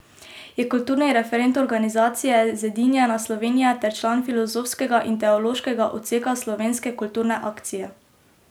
Je kulturni referent organizacije Zedinjena Slovenija ter član filozofskega in teološkega odseka Slovenske kulturne akcije.